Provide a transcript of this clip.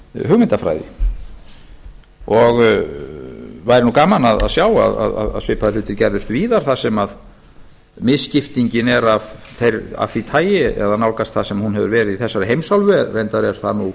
hugmyndafræði og væri nú gaman að sjá að svipaðir hlutir gerðust víðar þar sem misskiptingin er af því tagi eða nálgast það sem hún hefur verið í þessari heimsálfu reyndar er það nú